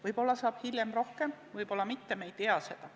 Võib-olla saab hiljem rohkem, võib-olla mitte, me ei tea seda.